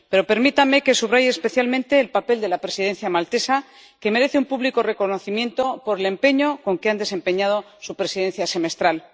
Pero permítanme que subraye especialmente el papel de la Presidencia maltesa, que merece un público reconocimiento por el empeño con que ha desempeñado su presidencia semestral.